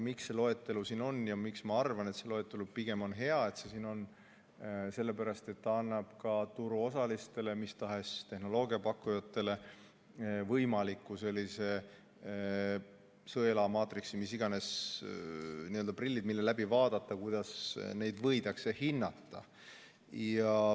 Miks see loetelu siin on ja miks ma arvan, et see loetelu on pigem hea, on sellepärast, et see annab ka turuosalistele, mis tahes tehnoloogia pakkujatele võimaliku sõela, maatriksi, n-ö prillid, läbi mille vaadata, kuidas neid võidakse hinnata.